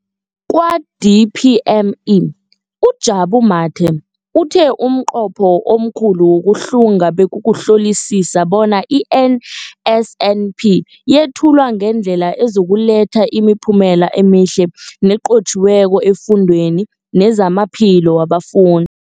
Kwa-DPME, uJabu Mathe, uthe umnqopho omkhulu wokuhlunga bekukuhlolisisa bona i-NSNP yethulwa ngendlela ezokuletha imiphumela emihle nenqotjhiweko efundweni nezamaphilo wabafun